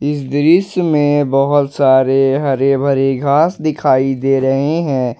इस दृश्य में बहोत सारे हरे भरे घास दिखाई दे रहे हैं।